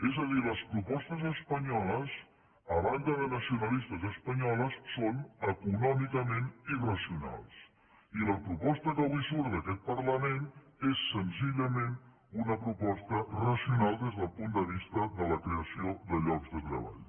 és a dir les propostes espanyoles a banda de nacionalistes espanyoles són econòmicament irracionals i la proposta que avui surt d’aquest parlament és senzillament una proposta racional des del punt de vista de la creació de llocs de treball